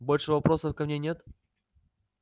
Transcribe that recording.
больше вопросов ко мне нет